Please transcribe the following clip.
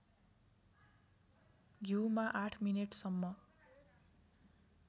घिउमा ८ मिनेटसम्म